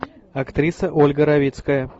актриса ольга равицкая